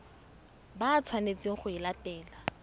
ba tshwanetseng go e latela